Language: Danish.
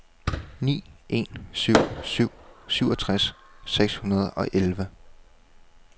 ni en syv syv syvogtres seks hundrede og elleve